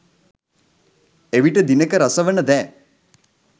එවිට දිනෙක රස වන දෑ